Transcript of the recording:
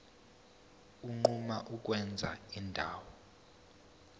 unquma ukwenza indawo